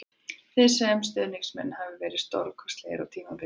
Þið sem stuðningsmenn hafið verið stórkostlegir á tímabilinu